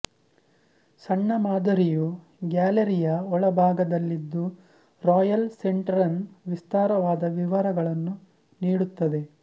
ಸಣ್ಣ ಮಾದರಿಯು ಗ್ಯಾಲರಿಯ ಒಳಭಾಗದಲ್ಲಿದ್ದು ರಾಯಲ್ ಸೆಂಟರನ ವಿಸ್ತಾರವಾದ ವಿವರಗಳನ್ನು ನೀಡುತ್ತದೆ